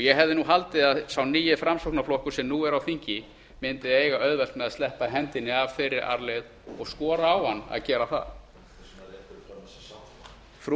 ég hefði haldið að sá nýi framsóknarflokkur sem nú er á þingi mundi eiga auðvelt með að sleppa hendinni af þeirri arfleifð og ég skora á hann að gera það rétta fram sátt frú